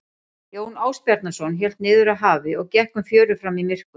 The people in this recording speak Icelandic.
Jón Ásbjarnarson hélt niður að hafi og gekk um fjörur fram í myrkur.